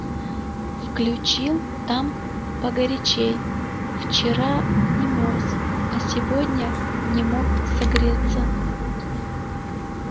включил там погорячей вчера не мёрз а сегодня не мог согреться